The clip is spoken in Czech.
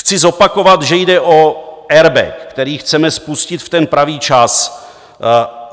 Chci zopakovat, že jde o airbag, který chceme spustit v ten pravý čas.